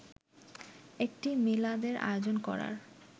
একটি মিলাদের আয়োজন করার